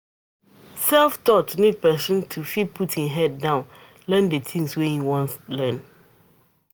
self-taught need person to fit put im head down learn di thing wey im wan learn